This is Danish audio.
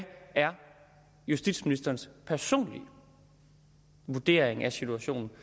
er justitsministerens personlige vurdering af situationen